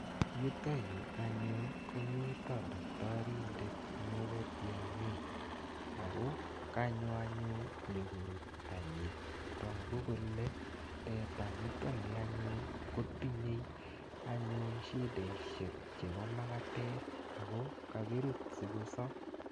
Yutayu anyun ko mita daktarindet nepo tiang'ik ako kanyo anyun nyu korut tanyi. Tagu anyun kole teta nitani ko tinyei anyun shideshek chepo makatet ako kakiruut asikosap.